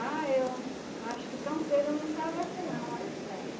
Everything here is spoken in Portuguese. Ah, eu acho que tão cedo eu não saio daqui não, olhe, é.